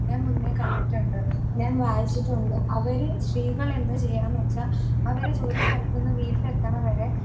ഞാൻ മുന്നേ കണ്ടിട്ടുണ്ട് , ഞാൻ വായിച്ചിട്ടുണ്ട് അവർ സ്ത്രീകൾ എന്ത് ചെയ്യാന്നു വെച്ച അവരെ ജോലി സ്ഥലത്തു നിന്നും വീട്ടിൽ എത്തണ വരെ